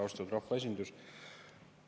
Austatud rahvaesindus!